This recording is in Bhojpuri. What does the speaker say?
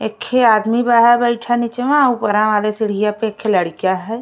एक ठे आदमी बा है बइठा निचवा। ऊपरा वाले सीढ़िया पे एक ठे लड़किया है।